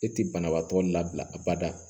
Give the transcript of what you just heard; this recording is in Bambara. E ti banabaatɔ labila a bada